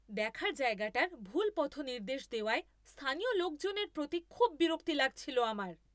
দেখার জায়গাটার ভুল পথনির্দেশ দেওয়ায় স্থানীয় লোকজনের প্রতি খুব বিরক্তি লাগছিল আমার।